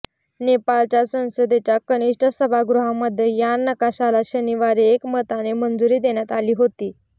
नेपाळच्या संसदेच्या कनिष्ठ सभागृहामध्ये या नकाशाला शनिवारी एकमताने मंजुरी देण्यात आली होती